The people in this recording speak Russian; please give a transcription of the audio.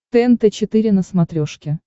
тнт четыре на смотрешке